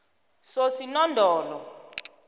sosinondolo